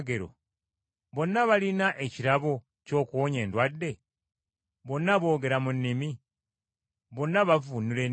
Bonna balina ekirabo ky’okuwonya endwadde? Bonna boogera mu nnimi? Bonna bavvuunula ennimi?